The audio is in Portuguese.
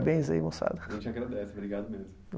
Moçada. A gente agradece, obrigado mesmo.